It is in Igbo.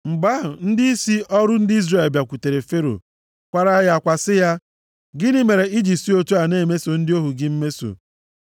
Mgbe ahụ, ndịisi ọrụ ndị Izrel bịakwutere Fero kwaara ya akwa sị ya, “Gịnị mere i ji si otu a na-emeso ndị ohu gị mmeso?